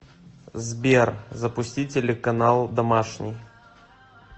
сбер запусти телеканал домашний